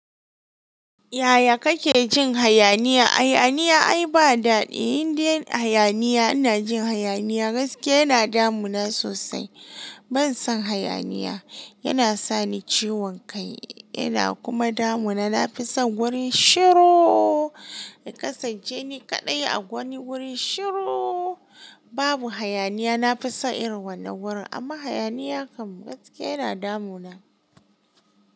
Yaya kake jin hayaniya? Hayaniya ai ba daɗi. In dai hayaniya ina jin hayaniya gaske yana damuna sosai. Ban son hayaniya, yana sani ciwon kai, yana kuma damuna. Nafi son gurin shirooo, yakasance ni kaɗai a wani guri shirooo, babu hayaniya. Nafi son irin wannan gurin, amma hayaniya kam gaskiya yana damuna.